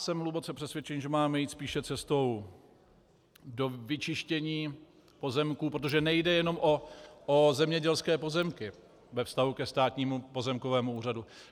Jsem hluboce přesvědčený, že máme jít spíše cestou do vyčištění pozemků, protože nejde jenom o zemědělské pozemky ve vztahu ke Státnímu pozemkovému úřadu.